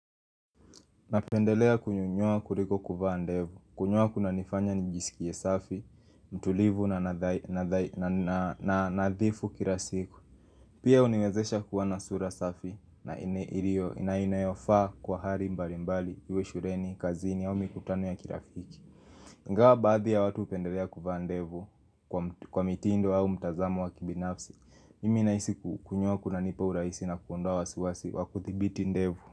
Napendelea kunyoa kuliko kuvaa ndevu, kunyoa kuna nifanya nijisikie safi, mtulivu na nadhifu kila siku Pia huniwezesha kuwa na sura safi na inayofaa kwa hali mbalimbali, uwe shuleni, kazini au mikutano ya kirafiki Ingawa baadhi ya watu hupendelea kuvaa ndevu kwa mitindo au mtazamo wa kibinafsi, mimi nahisi kunyoa kunanipa urahisi na kuondoa wasiwasi wa kudhibiti ndevu.